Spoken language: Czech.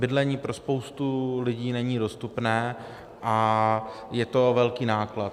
Bydlení pro spoustu lidí není dostupné a je to velký náklad.